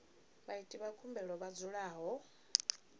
vhaiti vha khumbelo vha dzulaho